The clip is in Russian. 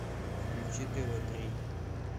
включи тв три